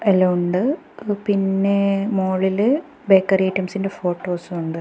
എല്ലാം ഉണ്ട് ങ്ങ പിന്നെ മോളില് ബേക്കറി ഐറ്റംസിന്റെ ഫോട്ടോസ് ഉണ്ട്.